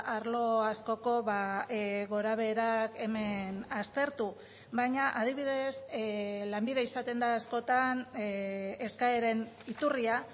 arlo askoko gorabeherak hemen aztertu baina adibidez lanbide izaten da askotan eskaeren iturria